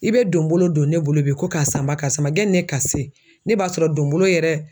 I bɛ donbolo don ne bolo bi ko kasanba karisa ma, jɛnni ne ka se, ne b'a sɔrɔ donbolo yɛrɛ